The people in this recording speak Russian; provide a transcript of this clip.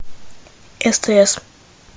стс